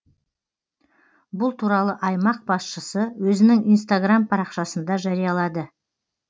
бұл туралы аймақ басшысы өзінің инстаграм парақшасында жариялады